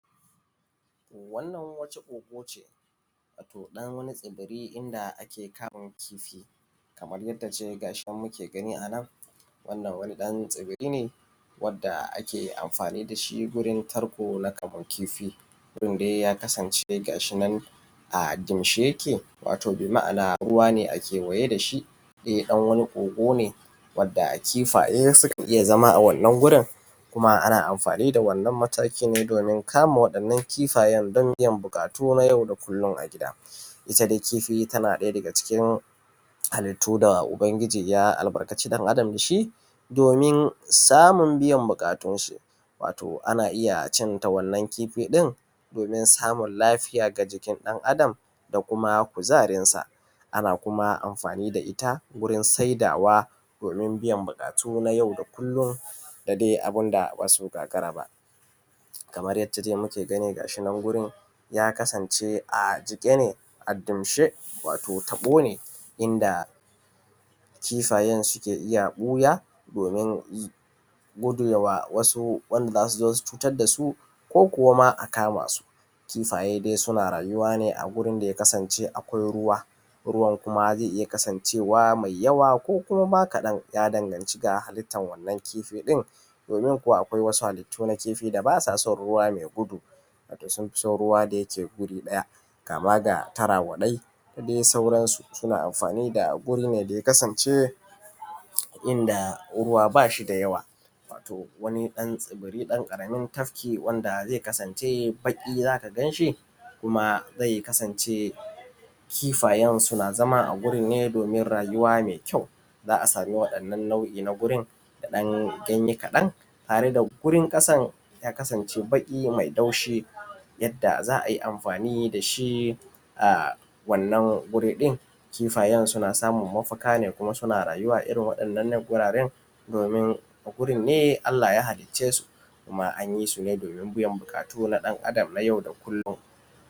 Wannan wata kogoce wato ɗan wata tsibiri inda ake kamun kifi, Kaman yaddace gashinan muke gani anan wannan wani ɗan tsibiri wadda ake amfani dashi gurin tarko na kamun kifi. Gurin dai gashi ya kasance a kimshe yake wato bi ma’ana ruwane a kewaye dashi kogone wanda kifaye sukan iyya zama a wannan wurin kuma ana amfani dawannan matakinne domin kama waɗannan kifayen dan biyan buƙatu na yau da kullum a gida. Itta dai tana ɗaya daga cikin halittu da ubangiji ya albarkaci ɗan adam dashi domin samun biyan buƙatunshi, anna iyya cinta wannan kifi ɗin domin samun lafiya ga jikin ɗan adam da kuma kuzarinsa. Ana kuma amfani da itta wurin sai dawa domin biyan buƙatu na yau da kullum da dai abunda bazai gagara ba. Kamar yacce dai muke gani gashinan wurin ya kasance a jike ne a damshe wato taɓone inda kifayen suke iyya ɓuya domin kuɗewa wasu wanda zasuzo su cutar dasu, ko kuwama a kamasu. Kifaye dai suna rayuwa ne a gurin da yakasance akwai ruwa, ruwan kuma dayake kasancewa mai yawa ko kuma ma kaɗan, yadanganci da halittan wannan kifi ɗin domin kuwa akwai wasu halittu na kifi da basason ruwa mai gudu sunfison wanda yake tsaye a guri ɗaya kamada tarawaɗai da dai sauransu suna amfani da gurin daya kasance yinda ruwa baya da yawa. Wato wano ɗan tsibiri ɗan ƙaramin tafki zai kasance baƙi zaka ganshi kuma zai kasance kifayen na zama agurinnr domin rayuwa mai kyau, za’a samu wannan nau’I na gurin da ɗan ganye kaɗan, tareda gurin ƙasan ya kasance baƙi mai laushi yadda za’ayi amfani dashi. A wannan guriɗin kifaye suna samun mafaka ne kuma suna rayuwa a irrin waɗannan wuraren domin gurinne Allah ya halicce su kuma anyi sune domin biyan buƙatun ɗan adam na yau da kullum.